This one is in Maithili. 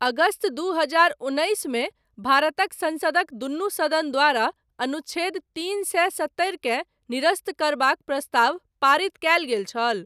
अगस्त दू हजार उन्नैसमे, भारतक संसदक दुनू सदन द्वारा, अनुच्छेद तीन सए सत्तरिकेँ निरस्त करबाक, प्रस्ताव पारित कयल गेल छल।